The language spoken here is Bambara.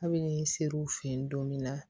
Kabini ser'u fɛ yen don min na